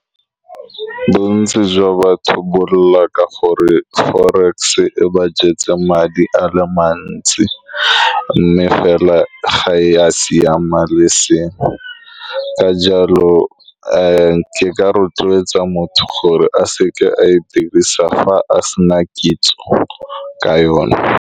Bontsi jwa batho bolela ka gore forex e ba jetse madi a le mantsi, mme fela ga ya siama le eseng ka jalo. Ke ka rotloetsa motho gore a seka a e dirisa fa a se na kitso ka yone.